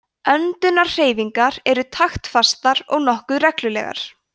öndunarhreyfingar eru taktfastar og nokkuð reglulegar